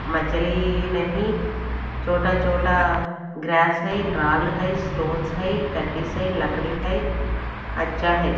मछली नहीं छोटा छोटा ग्रेप्स है रॉल हई स्टोनस हई कैक्टस हई लकड़ी है अच्छा है।